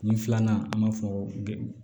Kun filanan an b'a fɔ